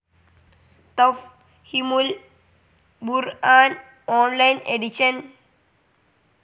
Tafheemul Quran online edition